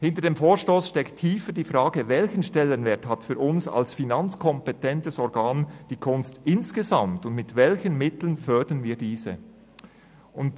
Hinter dem Vorstoss steht die tiefere Frage, welchen Stellenwert für uns als finanzkompetentes Organ die Kunst insgesamt hat und mit welchen Mitteln wir diese fördern.